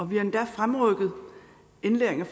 vi har endda fremrykket indlæringen og